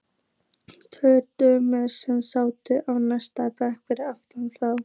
Tvær dömur sem sátu á næsta bekk fyrir aftan þá.